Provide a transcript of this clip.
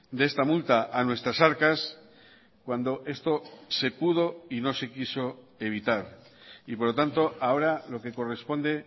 de esta multa a nuestras arcas cuando esto se pudo y no se quiso evitar y por lo tanto ahora lo que corresponde